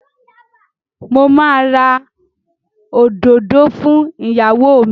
Mo máa ra òdòdó fún ìyàwó mi.